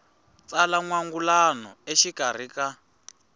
tsala n wangulano exikarhi ka